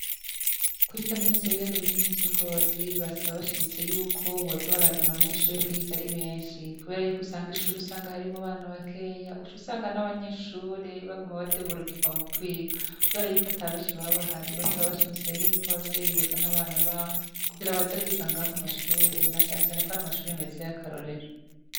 Kuri kaminuza yibiyaga binini vyi Ngozi , Barasaba bashimitse yuko boza barazana abanyeshure kuhiga ari benshi kubera usanga ishure harimwo abana bakeyi uc'usanga n'abanyeshure baguma badeburukirwa mu kwiga, kubera ko ata benshi baba bahari basaba bashimitse ko abavyeyi bozana abana babo na canecane ko ari amashure meza ya karorero.